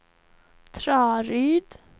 Traryd